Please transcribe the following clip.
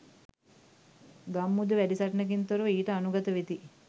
ගම්මුද වැඩි සටනකින් තොරව ඊට අනුගත වෙති.